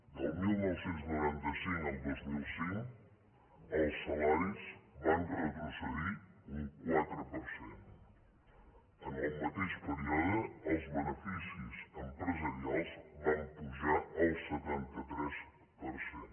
del dinou noranta cinc al dos mil cinc els salaris van retrocedir un quatre per cent en el mateix període els beneficis empresarials van pujar el setanta tres per cent